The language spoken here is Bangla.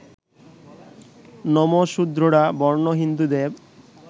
নমঃশূদ্ররা বর্ণ-হিন্দুদের